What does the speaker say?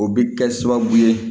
O bɛ kɛ sababu ye